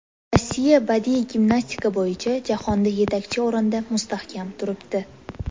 Rossiya badiiy gimnastika bo‘yicha jahonda yetakchi o‘rinda mustahkam turibdi.